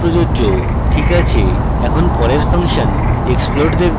ok আছে এখন পরের ফাংশন explode দেখব